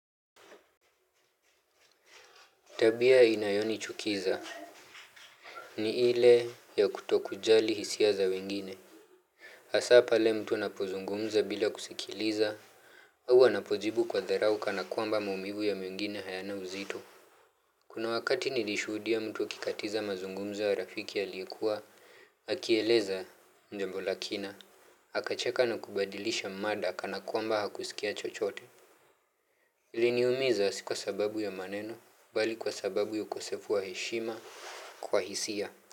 Tabia inayonichukiza ni ile ya kutokujali hisia za wengine. Hasa pale mtu anapozungumza bila kusikiliza. Huwa anapojibu kwa dharau kana kwamba maumivu ya mwengine hayana uzito. Kuna wakati nilishuhudia mtu akikatiza mazungumzo ya rafiki aliyekuwa. Akieleza jambo la kina. Akacheka na kubadilisha mada kana kwamba hakusikia chochote. Iliniumiza si kwa sababu ya maneno bali kwa sababu ya ukosefu wa heshima kwa hisia.